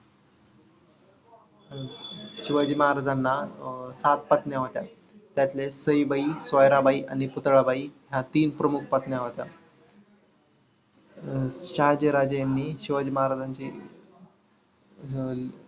शिवाजी महाराजांना अं सात पत्नी होत्या. त्यातले सईबाई, सोयराबाई आणि पुतळाबाई ह्या तीन प्रमुख पत्नी होत्या. शहाजी राजे यांनी शिवाजी महाराजांचे अं